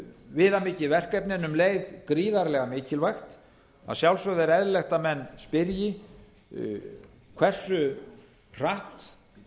viðamikið verkefni en um leið gríðarlega mikilvægt að sjálfsögðu er eðlilegt að menn spyrji hversu hratt